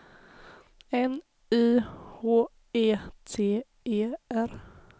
N Y H E T E R